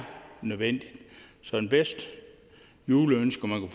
nødvendigt så det bedste juleønske man